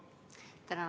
Tänan!